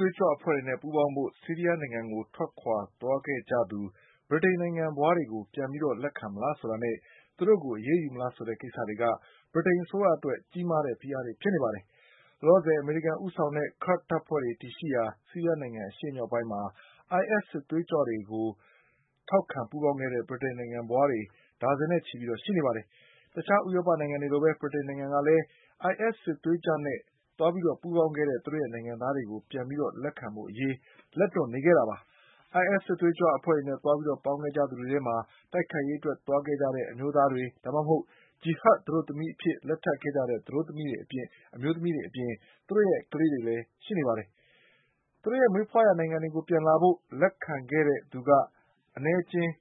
သွေးကြွအဖွဲ့နဲ့ပူးပေါင်းဖို့ ဆီးရီးယားနိုင်ငံကိုထွက်ခွါသွားခဲ့သူ ဗြိတိန်နိုင်ငံံဖွါးတွေကို ပြန်ပြီးလက်ခံမလားဆိုတာနဲ့ သူတို့ကို အရေးယူမလား ဆိုတဲ့ ကိစ္စတွေက ဗြိတိန်အစိုးရအတွက် ကြီးမားတဲ့ဖိအားတွေ ဖြစ်နေပါတယ်။ လောလောဆယ် အမေရိကန်ဦးဆောင်တဲ့ ကာ့ဒ်တပ်ဖွဲ့တွေတည်ရှိရာ ဆီးရီးယားနိုင်ငံ အရှေ့မြောက်ပိုင်းမှာ IS စစ်သွေးကြွကိုထောက်ခံ ပူးပေါင်းခဲ့တဲ့ ဗြိတိန်နိုင်ငံဖွါးတွေ ဒါဇင်နဲ့ ချီပြီး ရှိနေပါတယ်။ တခြားဥရောပနိုင်ငံတွေလိုပဲ ဗြိတိန်နိုင်ငံကလည်း IS စစ်သွေးကြွ နဲ့ပူးပေါင်းခဲ့တဲ့ သူတို့နိုင်ငံသားတွေကို ပြန်ပြီးလက်ခံဖို့ လက်တွန့်နေခဲ့တာပါ။ IS စစ်သွေးကြွအဖွဲ့နဲ့သွားပြီးပူးပေါင်းခဲ့ကြ သူတွေထဲမှာ တိုက်ခိုက်ရေးအတွက်သွားတဲ့ အမျိုးသားတွေ၊ ဒါမှမဟုတ် ဂျီဟတ်သတို့သမီးအဖြစ် လက်ထပ်ခဲ့ ကြတဲ့ အမျိုးသမီးတွေ အပြင် သူတို့ရဲ့ ကလေးတွေလည်းရှိနေပါတယ်။ သူတို့ရဲ့ မွေးဖွါးရာနိုင်ငံတွေကို ပြန်လာဖို့ လက်ခံခဲ့တဲ့သူက အနည်းအကျဉ်း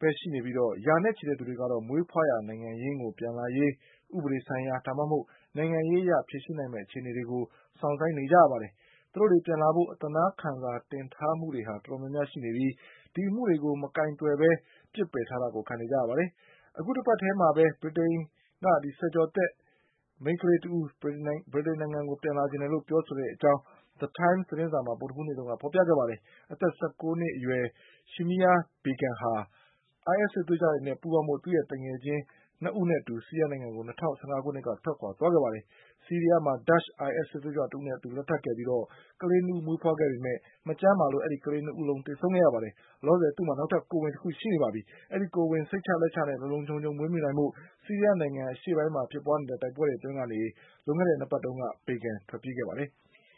ပဲ ရှိနေပြီး ရာနဲ့ချီတဲ့သူတွေကတော့ မွေးဖွါးရာနိုင်ငံ ရင်းကို ပြန်လာရေး ဥပဒေဆိုင်ရာ၊ ဒါမှမဟုတ်နိုင်ငံရေးအရ ဖြေရှင်းနိုင်မယ့် အခြေအနေတွေ ကို စောင့်ဆိုင်း နေကြပါတယ်။ သူတို့တွေပြန်လာဖို့ အသနားခံစာတင်ထားတာတွေဟာ တော်တော်များများရှိနေပြီး ဒီအမှုတွေကို မကိုင်တွယ်ဘဲပြစ်ထားတာကိုခံနေကြရပါတယ်။ အခုတပတ်တည်းမှာပဲ ဗြိတိသျှဆယ်ကျော်သက်မိန်းကလေးတဦးက ဗြိတိန်နိုင်ငံကို ပြန်လာချင်တယ်လို့ပြောဆိုတဲ့အကြောင်း The Times သတင်းစာမှာ ဗုဒ္ဓဟူးနေ့က ဖေါ်ပြခဲ့ပါတယ်။ အသက် ၁၉ နှစ်အရွယ် Shamima Begumဟာ IS စစ်သွေးကြွတွေနဲ့ ပူးပေါင်းဖို့ သူ့ရဲ့သူငယ်ချင်း ၂ ဦးနဲ့အတူ ဆီးရီးယား နိုင်ငံကို ၂၀၁၅ ခုနှစ်က ထွက်ခွါ သွားခဲ့တာပါ။ ဆီးရီးယားမှာဒါ့ချ် IS စစ် သွေးကြွတဦးနဲ့လက်ထပ်ခဲ့ပြီး ကလေး ၂ ဦး မွေးဖွါးခဲ့ပေမယ့် မကျန်းမာလို့ ကလေး ၂ ဦးလုံး သေဆုံးခဲ့ရပါတယ်။ လောလောဆယ် သူ့မှာ နောက်ထပ်ကိုယ်ဝန်ရှိနေပါပြီ။ ဒီကိုယ်ဝန်ကို စိတ်ချလက်ချနဲ့ လုံလုံခြုံခြုံမွေးမြူနိုင်ဖို့ ဆီးရီးယားနိုင်ငံ အရှေ့ပိုင်းမှာဖြစ်ပွါးနေတဲ့တိုက်ပွဲတွေအတွင်းကနေ လွန်ခဲ့တဲ့ ၂ ပတ်တုန်းက Begum ထွက်ပြေးခဲ့ပါတယ်။